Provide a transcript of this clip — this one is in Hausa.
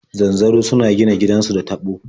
Zanzaro suna gina gidansu da taɓo.